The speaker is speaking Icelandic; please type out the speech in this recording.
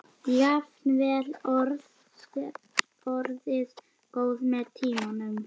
Jafnvel orðið góð með tímanum.